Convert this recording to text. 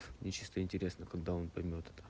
мне чисто интересно когда он поймёт это